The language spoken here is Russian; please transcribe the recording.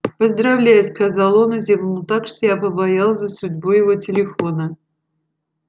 поздравляю сказал он и зевнул так что я побоялась за судьбу его телефона